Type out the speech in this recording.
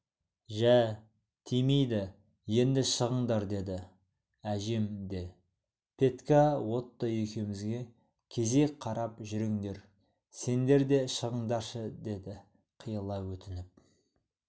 жә тимейді енді шығыңдар деді әжем де петька отто екеумізге кезек қарап жүріңдер сендер де шығыңдаршы деді қиыла өтініп